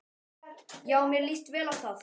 Já, mér líst vel á það.